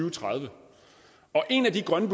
og tredive en af de grønne